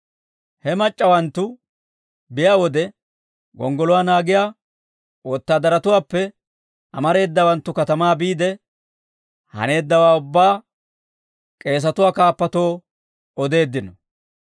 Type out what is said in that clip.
He mac'c'awanttu biyaa wode, gonggoluwaa naagiyaa wotaadaratuwaappe amareedawanttu katamaa biide, haneeddawaa ubbaa k'eesatuwaa kaappatoo odeeddino.